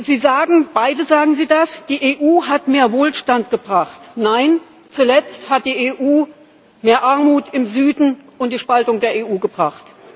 Sie sagen beide, dass die EU mehr Wohlstand gebracht hat. Nein! Zuletzt hat die EU mehr Armut im Süden und die Spaltung der EU gebracht.